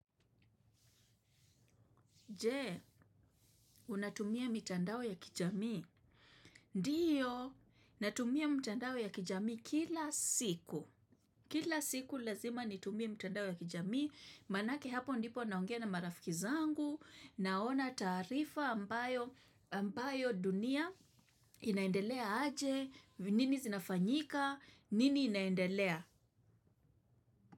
Jee, unatumia mitandao ya kijamii? Ndiyo, natumia mitandao ya kijamii kila siku. Kila siku lazima nitumie mtandao ya kijamii. Maanake hapo ndipo naongea na marafiki zangu, naona taarifa ambayo dunia inaendelea aje, nini zinafanyika, nini inaendelea.